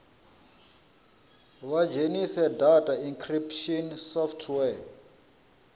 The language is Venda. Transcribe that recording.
vha dzhenise data encryption software